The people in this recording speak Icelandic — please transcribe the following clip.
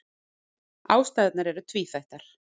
Ástæðurnar eru tvíþættar.